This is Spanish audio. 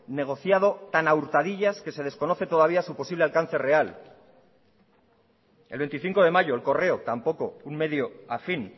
negociado tan a hurtadillas que se desconoce todavía su posible alcance real el veinticinco de mayo el correo tampoco un medio a fin